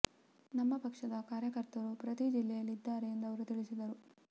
ನಮ್ಮ ಪಕ್ಷದ ಕಾರ್ಯಕರ್ತರು ಪ್ರತಿ ಜಿಲ್ಲೆಯಲ್ಲಿ ಇದ್ದಾರೆ ಎಂದು ಅವರು ತಿಳಿಸಿದರು